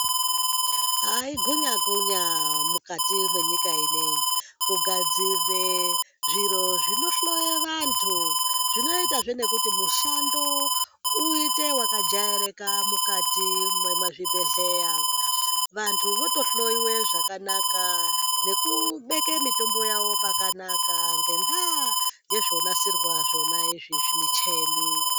Aaah igunyakunya munyika mukati mwenyika inoi kugadzire zviro zvinohloye vantu zvinoitazve nekuti mushando uite wakajairika mukati mwezvibhehleya vantu vote hloyiwe zvakanaka nekubeke mitombo yawo pakanaka ngenda yezvonasirwa zvonaizvi micheni.